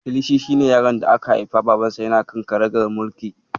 Kilishi shi ne yaron da aka haifa babansa yana kan karagar mulki.